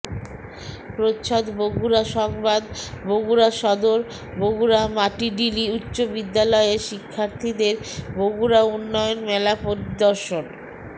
প্রচ্ছদ বগুড়া সংবাদ বগুড়া সদর বগুড়া মাটিডিলী উচ্চ বিদ্যালয়ের শিক্ষার্থীদের বগুড়া উন্নয়ন মেলা পরিদর্শন